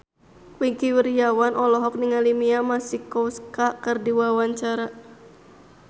Wingky Wiryawan olohok ningali Mia Masikowska keur diwawancara